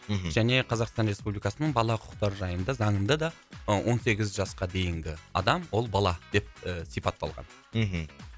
мхм және қазақстан республикасының бала құқықтары жайында заңында да ы он сегіз жасқа дейінгі адам ол бала деп і сипатталған мхм